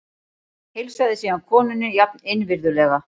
Heilsaði síðan konunni jafn innvirðulega.